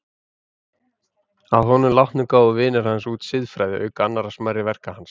Að honum látnum gáfu vinir hans út Siðfræði, auk annarra smærri verka hans.